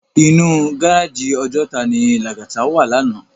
Inú gáráji Òjòtá ni Lagata wá làná